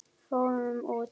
Fórum út!